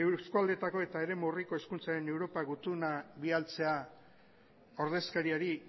eskualdeetako eta eremu urriko hizkuntzen europa gutuna bidaltzea ordezkariari